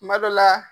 Kuma dɔ la